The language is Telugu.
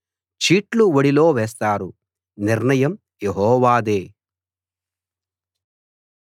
చీట్లు ఒడిలో వేస్తారు నిర్ణయం యెహోవాదే